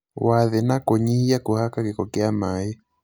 wa thĩ na kũnyihia kũhaka gĩko kwa maĩ.